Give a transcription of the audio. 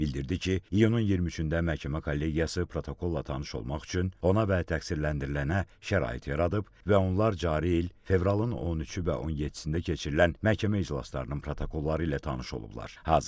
Bildirdi ki, iyunun 23-də məhkəmə kollegiyası protokolla tanış olmaq üçün ona və təqsirləndirilənə şərait yaradıb və onlar cari il fevralın 13-ü və 17-də keçirilən məhkəmə iclaslarının protokolları ilə tanış olublar.